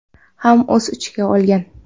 ham o‘z ichiga olgan.